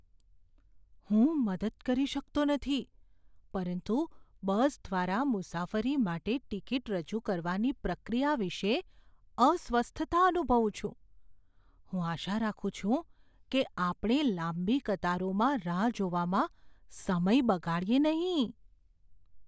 હું મદદ કરી શકતો નથી પરંતુ બસ દ્વારા મુસાફરી માટે ટિકિટ રજૂ કરવાની પ્રક્રિયા વિશે અસ્વસ્થતા અનુભવું છું, હું આશા રાખું છું કે આપણે લાંબી કતારોમાં રાહ જોવામાં સમય બગાડીએ નહીં.